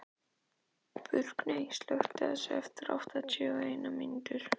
Burkney, slökktu á þessu eftir áttatíu og eina mínútur.